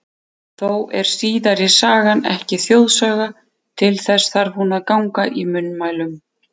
Þó er síðari sagan ekki þjóðsaga, til þess þarf hún að ganga í munnmælum.